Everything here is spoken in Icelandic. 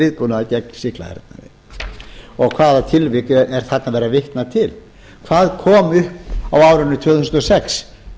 viðbúnaðar gegn sýklahernaði og hvaða tilvik er þarna verið að vitna til hvað kom upp á árinu tvö þúsund og sex